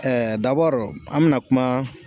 Ɛɛ dabɔri n bi na kuma